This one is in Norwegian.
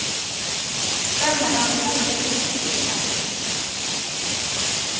Dermed har de heller ikke rukket å bli kjent.